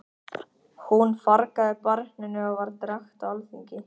Hún fargaði barninu og var drekkt á alþingi.